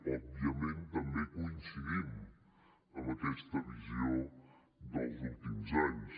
òbviament també coincidim en aquesta visió dels últims anys